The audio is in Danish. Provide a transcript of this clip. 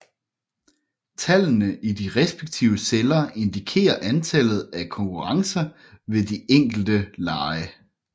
Tallene i de respektive celler indikerer antallet af konkurrencer ved de enkelte lege